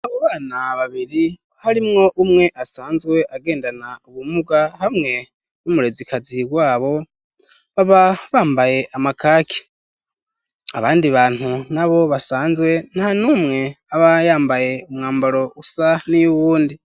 Abo bana babiri, harimwo umwe asanzwe agendana ubumuga, hamwe n'umurezikazihi wabo, baba bambaye amakaki, abandi bantu nabo basanzwe, nta n'umwe aba yambaye umwambaro usa n'iy'uwundi.